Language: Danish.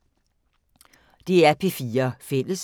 DR P4 Fælles